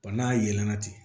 Ba n'a yɛlɛlana ten